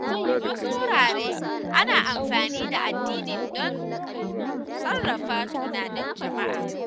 A wasu wurare, ana amfani da addini don sarrafa tunanin jama’a.